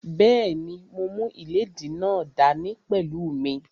Bẹ́ẹ̀ni, mo mú ìléèdí náà dá ní pẹ̀lú mí